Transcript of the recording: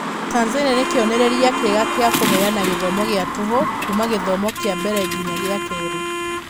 Tanzania nĩ kĩonereria kĩega gĩa kũheana gĩthomo gĩa tũhũ kuuma gĩthomo kĩa mbere nginya gĩa kerĩ.